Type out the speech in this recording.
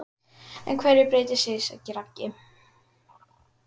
En hverju breytti Siggi Raggi?